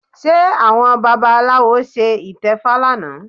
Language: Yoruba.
Ṣé àwọn babaláwo ṣe ìtẹfa lánàá?